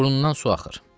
Burnundan su axır.